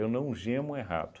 não gemo errado.